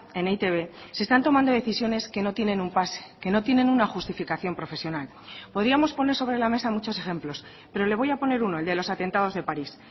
en e i te be se están tomando decisiones que no tienen un pase que no tienen una justificación profesional podíamos poner sobre la mesa muchos ejemplos pero le voy a poner uno el de los atentados de parís